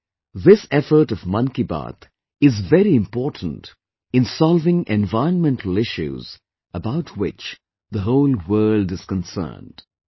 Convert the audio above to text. Today, this effort of 'Mann Ki Baat' is very important in solving environmental issues about which the whole world is concerned